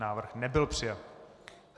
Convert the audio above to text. Návrh nebyl přijat.